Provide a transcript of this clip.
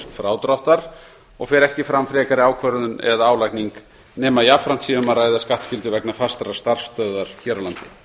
frádráttar og fer ekki fram frekari ákvörðun eða álagning nema jafnframt sé um að ræða skattskyldu vegna fastrar starfsstöðvar hér á landi